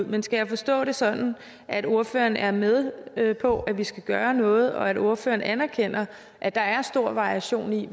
men skal jeg forstå det sådan at ordføreren er med med på at vi skal gøre noget og at ordføreren anerkender at der er stor variation i